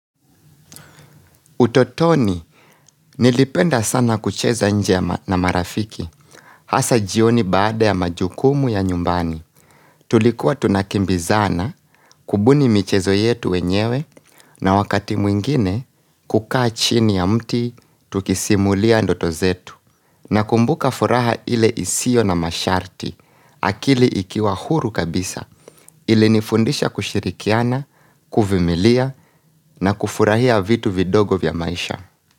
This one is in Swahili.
Utotoni, nilipenda sana kucheza nje na marafiki, hasa jioni baada ya majukumu ya nyumbani. Tulikuwa tunakimbizana, kubuni michezo yetu wenyewe, na wakati mwingine, kukaa chini ya mti, tukisimulia ndoto zetu, nakumbuka furaha ile isiyo na masharti, akili ikiwa huru kabisa, ilinifundisha kushirikiana, kuvimilia, na kufurahia vitu vidogo vya maisha.